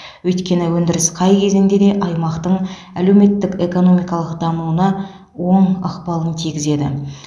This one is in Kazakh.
өйткені өндіріс қай кезеңде де аймақтың әлеуметтік экономикалық дамуына оң ықпалын тигізеді